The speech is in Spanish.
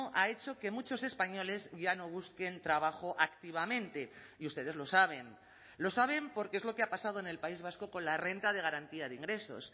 ha hecho que muchos españoles ya no busquen trabajo activamente y ustedes lo saben lo saben porque es lo que ha pasado en el país vasco con la renta de garantía de ingresos